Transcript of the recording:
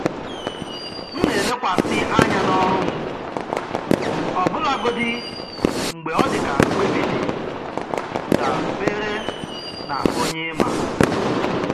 M na-elekwasị anya n'ọrụ m ọbụlagodi mgbe odika mkpebi dị da beere na onye ima.